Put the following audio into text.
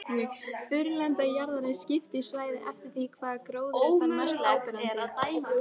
Þurrlendi jarðar er skipt í svæði eftir því hvaða gróður er þar mest áberandi.